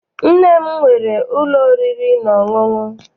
Nne m nwere ụlọ oriri na ọṅụṅụ.